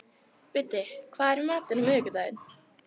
Biddi, hvað er í matinn á miðvikudaginn?